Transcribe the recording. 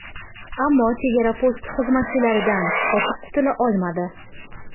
Ammo chegara posti xizmatchilaridan qochib qutula olmadi.